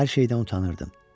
Hər şeydən utanırdım.